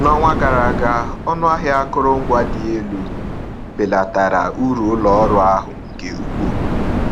N’ọnwa gara aga, ọnụ ahịa akụrụngwa dị elu belatara uru ụlọ ọrụ ahụ nke ukwuu.